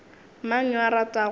mang yo a ratago go